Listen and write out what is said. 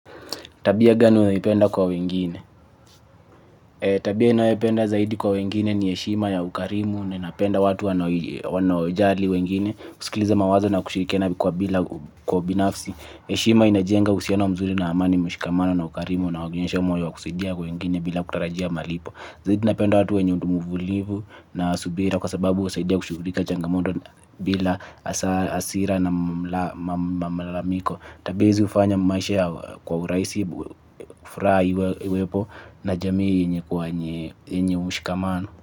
Tabia gani unayoipenda kwa wengine. Tabia inayopenda zaidi kwa wengine ni heshima ya ukarimu ninapenda watu wanojali wengine kusikiliza mawazo na kushirikiana kwa bila kwa binafsi. Heshima inajenga uhusiano mzuri na amani mshikamano na ukarimu na wagenesha moyo wa kusidia kwa wengine bila kutarajia malipo. Zaidi napenda watu wenyundumuvulivu na subira kwa sababu husaidia kushugulika changamoto bila hasira na mamalamiko. Tabia hizi hufanya maishia kwa urahisi, furaha iwepo na jamii yenye kwa yenye mshikamano.